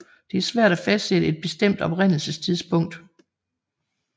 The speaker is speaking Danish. Det er svært at fastsætte et bestemt oprindelsestidspunkt